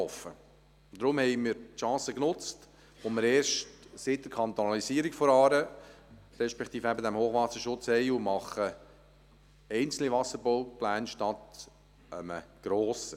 Darum haben wir die Chance genutzt, die wir erst seit der Kantonalisierung der Aare respektive eben seit diesem Hochwasserschutz haben, und machen einzelne Wasserbaupläne anstelle eines grossen.